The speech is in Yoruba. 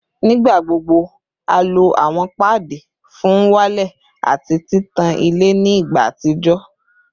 Nigbagbogbo a lo awọn paadi fun n walẹ ati titan ile ni igba atijọ